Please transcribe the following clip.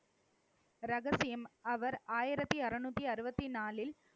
ரகசியம், அவர் ஆயிரத்தி அறுநூத்தி அறுபத்தி நாளில்